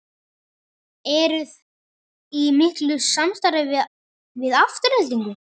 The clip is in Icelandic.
Eruði í miklu samstarfi við Aftureldingu?